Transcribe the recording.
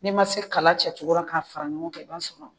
N'i ma se kala cɛ cogora ka fara ɲɔgɔn kan i b'a sɔrɔ